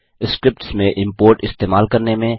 scripts में import इस्तेमाल करने में